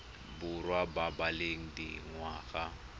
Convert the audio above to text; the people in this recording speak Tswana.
borwa ba ba leng dingwaga